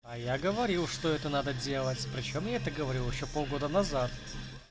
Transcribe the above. а я говорил что это надо делать причём я это говорил ещё полгода назад